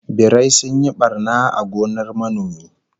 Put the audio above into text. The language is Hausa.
Birai sun yi barna a gonar manomi